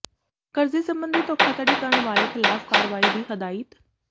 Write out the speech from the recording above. ਕਰਜ਼ੇ ਸਬੰਧੀ ਧੋਖਾਧੜੀ ਕਰਨ ਵਾਲੇ ਖ਼ਿਲਾਫ਼ ਕਾਰਵਾਈ ਦੀ ਹਦਾਇਤ